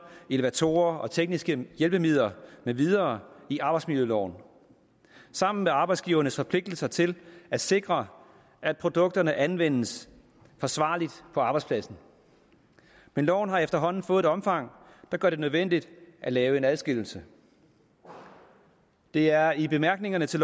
elevatorer og tekniske hjælpemidler med videre i arbejdsmiljøloven sammen med arbejdsgivernes forpligtelser til at sikre at produkterne anvendes forsvarligt på arbejdspladsen men loven har efterhånden fået et omfang der gør det nødvendigt at lave en adskillelse det er i bemærkningerne til